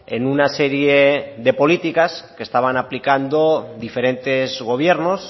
en una serie de políticas que estaban aplicando diferentes gobiernos